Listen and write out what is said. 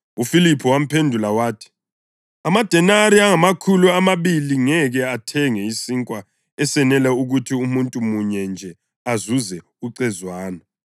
UFiliphu wamphendula wathi, “Amadenari angamakhulu amabili ngeke athenge isinkwa esenela ukuthi umuntu munye nje azuze ucezwana!”